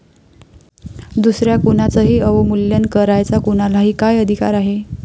दुसऱ्या कुणाचंही अवमूल्यन करायचा कुणालाही काय अधिकार आहे?